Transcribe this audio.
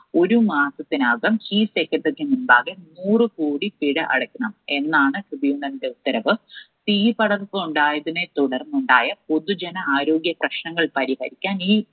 ഒരു മാസത്തിനകം chief secretary ക്കു മുൻപാകെ നൂറു കോടി പിഴ അടയ്ക്കണം എന്നാണ് Tribunal ന്റെ ഉത്തരവ്. തീപടർപ്പ് ഉണ്ടായതിനെ തുടർന്നുണ്ടായ പൊതുജന ആരോഗ്യപ്രശ്നങ്ങൾ പരിഹരിക്കാൻ ഈ